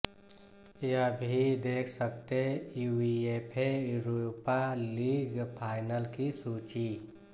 यह भी देख सकते यूईएफए यूरोपा लीग फाइनल की सूची